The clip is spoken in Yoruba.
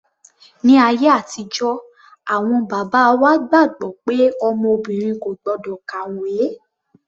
Ní ayé àtijọ́ awọn bàbá wa gbàgbọ́ pé ọmọ obìnrin kò gbọ́dọ̀ kàwé.